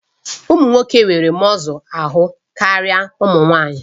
Ụmụ nwoke nwere mọzụ ahụ karịa ụmụ nwanyị